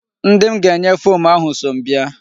Ndị m ga-enye fom ahụ so m bịa.